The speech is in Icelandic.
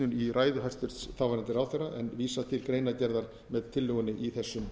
ívitnun í ræðu hæstvirts þáv ráðherra en vísa til greinargerðar með tillögunni í þessum